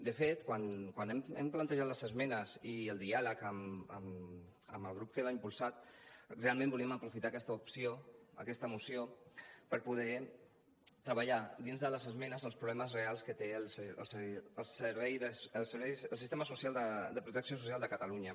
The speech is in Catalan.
de fet quan hem plantejat les esmenes i el diàleg amb el grup que l’ha impulsat realment volíem aprofitar aquesta moció per poder treballar dins de les esmenes els problemes reals que té el sistema social de protecció social de catalunya